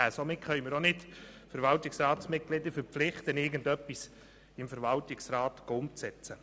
Somit können wir auch nicht Verwaltungsratsmitglieder verpflichten, irgendetwas im Verwaltungsrat umzusetzen.